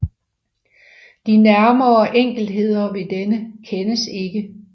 De nærmere enkeltheder ved denne kendes ikke